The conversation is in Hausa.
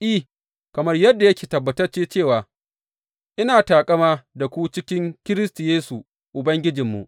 I, kamar yadda yake tabbatacce cewa ina taƙama da ku cikin Kiristi Yesu Ubangijinmu.